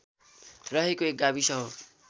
रहेको एक गाविस हो